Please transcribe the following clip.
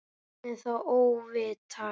Hvernig þá óvitar?